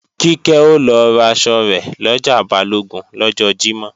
Kíkẹ́ o lọ raṣọ rẹ̀ lọjà Balógun lọ́jọ́ Jímọ̀